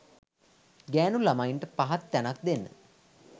ගෑණු ලමයින්ට පහත් තැනක් දෙන්න